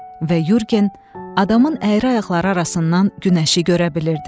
Və Yurgen adamın əyri ayaqları arasından günəşi görə bilirdi.